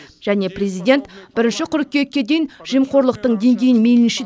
және президент бірінші қыркүйекке дейін жемқорлықтың деңгейін мейлінше